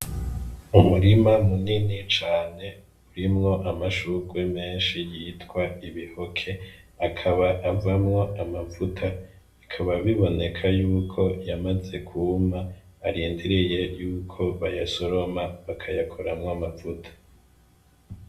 Umurima munini cane urimwo amashurwe menshi yitwa ibihoke. Akaba avamwo amavuta, bikaba biboneka y'uko yamaze kwuma, arindiriye y'uko bayasoroma bakayakoramwo amavuta.